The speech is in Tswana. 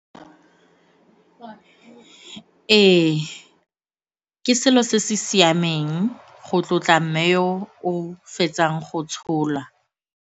Ee, ke selo se se siameng go tlotla mme yo o fetsang go tshola.